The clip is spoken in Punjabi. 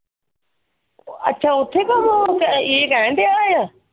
ਅੱਛਾ ਉੱਥੇ ਕਰਨਾ ਵ? ਇਹ ਕਹਿਣ ਡਿਯਾ ਆ?